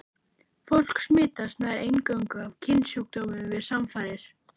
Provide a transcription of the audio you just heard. Fólk smitast nær eingöngu af kynsjúkdómum við samfarir.